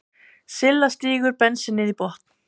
Silla stígur bensínið í botn.